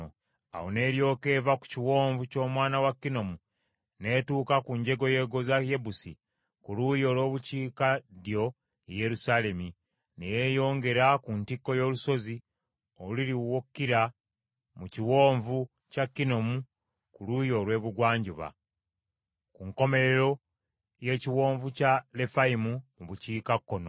Awo n’eryoka eva ku kiwonvu ky’omwana wa Kinomu n’etuuka ku njegoyego za Yebusi ku luuyi olw’obukiikaddyo ye Yerusaalemi, ne yeeyongera ku ntikko y’olusozi oluli w’okkira mu kiwonvu kya Kinomu ku luuyi olw’ebugwanjuba, ku nkomerero y’ekiwonvu kya Lefayimu mu bukiikakkono;